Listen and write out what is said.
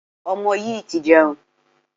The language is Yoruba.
Ọmọ yìí ti jẹun.